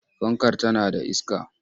Fankar tana da iska?